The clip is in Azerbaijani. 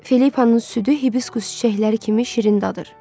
Filippanın südü Hibiskus çiçəkləri kimi şirin dadır.